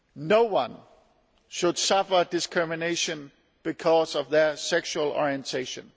No one should suffer discrimination because of their sexual orientation.